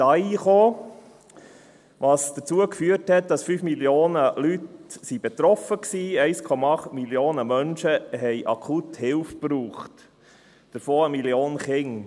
Das führte dazu, dass 5 Millionen Menschen betroffen waren, 1,8 Millionen Menschen brauchten akut Hilfe, davon 1 Million Kinder.